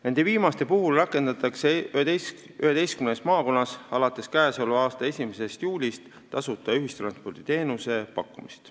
Nende viimaste puhul rakendatakse 11 maakonnas alates k.a 1. juulist tasuta ühistransporditeenuse pakkumist.